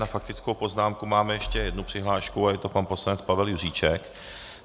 Na faktickou poznámku máme ještě jednu přihlášku a je to pan poslanec Pavel Juříček.